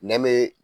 Nɛme